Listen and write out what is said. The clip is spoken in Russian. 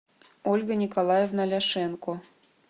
ольга николаевна ляшенко